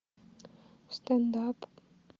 стендап